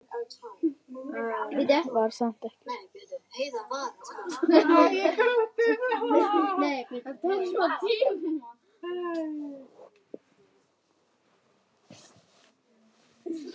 Var samt ekki viss.